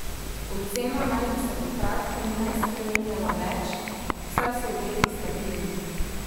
Ocena naj bi se v kratkem ne spreminjala več, saj so obeti stabilni.